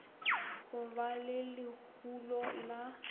go ba le lehulo la